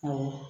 Awɔ